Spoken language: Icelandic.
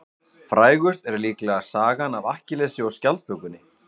Frægust er líklega sagan af Akkillesi og skjaldbökunni.